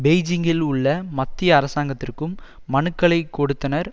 பெய்ஜிங்கில் உள்ள மத்திய அரசாங்கத்திற்கும் மனுக்களை கொடுத்தனர்